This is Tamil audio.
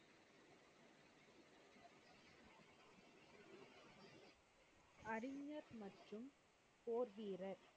போதீரர்,